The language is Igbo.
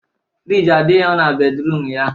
Frijii adighọ na bedruum ya